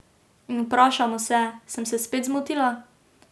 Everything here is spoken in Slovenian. In vprašamo se: 'Sem se spet zmotila?